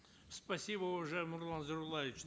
спасибо уважаемый нурлан зайроллаевич